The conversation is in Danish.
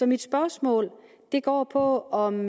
mit spørgsmål går på om